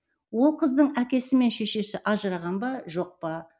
ол қыздың әкесі мен шешесі ажыраған ба жоқ па